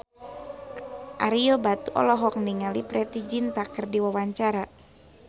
Ario Batu olohok ningali Preity Zinta keur diwawancara